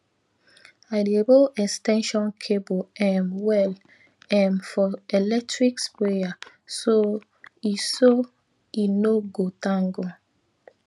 i dey roll ex ten sion cable um well um for electric sprayer so e so e no go tangle